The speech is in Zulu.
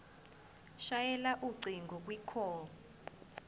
shayela ucingo kwicall